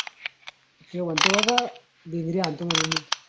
तो म्हणते बाबा भिंगरी हणतो म्हणून.